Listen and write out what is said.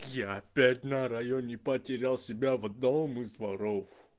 я опять на районе потерял себя в одном из дворов